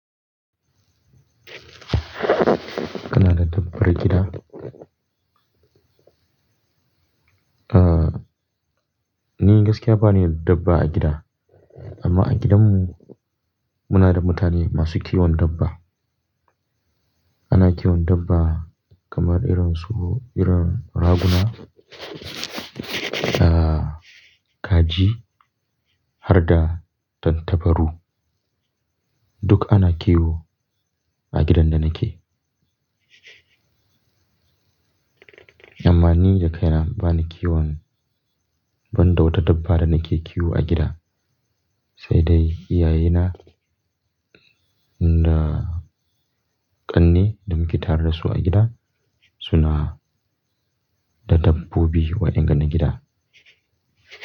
Kana da dabbar gida? Ni gaskiya ba ni da dabba a gida, amma a gidan mu muna da mutane masu kiwon dabba. Ana kiwon dabba kamar irin su irin raguna, da kaji, harda tantabaru. Duk ana kiwo a gidan da nake. Amma ni da kaina ba ni kiwon ban da wata dabba da nake kiwo a gida, sai dai iyaye na da ƙanne da muke tare da su a gida, suna da dabbobi waɗannan gidan.